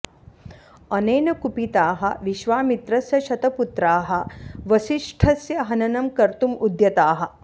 अनेन कुपिताः विश्वामित्रस्य शतपुत्राः वसिष्ठस्य हननं कर्तुम् उद्यताः